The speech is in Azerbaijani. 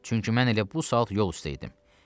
Çünki mən elə bu saat yol üstə idim.